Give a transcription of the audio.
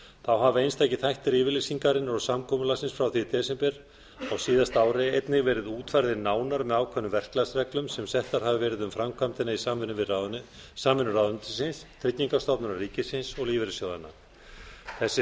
þá hafa einstakir þættir yfirlýsingarinnar og samkomulagsins frá því í desember á síðasta ári einnig verið útfærðir nánar með ákveðnum verklagsreglum sem settar hafa verið um framkvæmdina í samvinnu við ráðuneytisins tryggingastofnunar ríkisins og lífeyrissjóðanna þess er